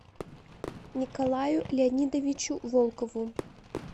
николаю леонидовичу волкову